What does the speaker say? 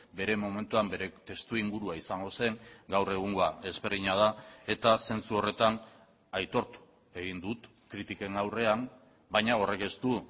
bere momentuan bere testuingurua izango zen gaur egungoa ezberdina da eta zentzu horretan aitortu egin dut kritiken aurrean baina horrek ez du